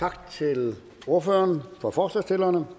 tak til ordføreren for forslagsstillerne